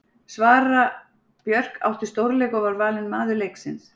Sara Björk átti stórleik og var valin maður leiksins.